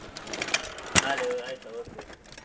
ಹಾ ನಾಳೆ ಆಯ್ತ okay okay .